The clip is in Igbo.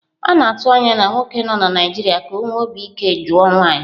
A na-atụ anya na nwoke nọ na Naịjirịa ka ọ nwee obi ike jụọ nwanyị.